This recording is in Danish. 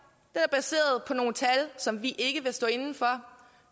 at på nogle tal som de ikke vil stå inde for